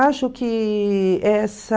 Acho que essa...